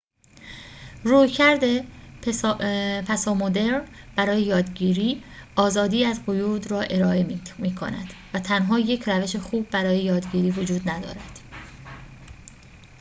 رویکرد پسامدرن برای یادگیری آزادی از قیود را ارائه می‌کند و تنها یک روش خوب برای یادگیری وجود ندارد